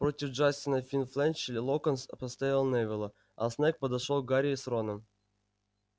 против джастина финч-флетчли локонс поставил невилла а снегг подошёл к гарри с роном